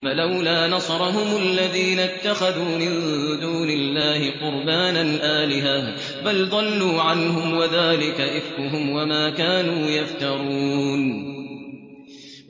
فَلَوْلَا نَصَرَهُمُ الَّذِينَ اتَّخَذُوا مِن دُونِ اللَّهِ قُرْبَانًا آلِهَةً ۖ بَلْ ضَلُّوا عَنْهُمْ ۚ وَذَٰلِكَ إِفْكُهُمْ وَمَا كَانُوا يَفْتَرُونَ